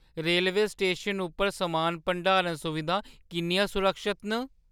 Rail स्टेशनै उप्पर समान भंडारण सुविधां किन्नियां सुरक्खत न?